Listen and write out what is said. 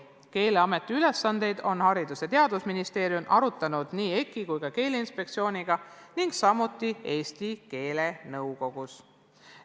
Keeleameti ülesandeid on Haridus- ja Teadusministeerium arutanud nii EKI kui ka Keeleinspektsiooniga, samuti Eesti keelenõukogus.